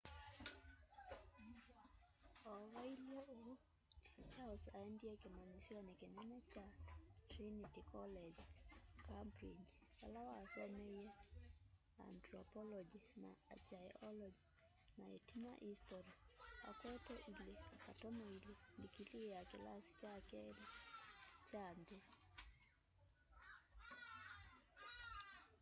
o vailye uu charles aendie kimanyisyo kinene kya trinity college cambridge vala wasomeie antropology na archaeology na itina history akwete 2:2 ndikilii ya kilasi kya keli kya nthi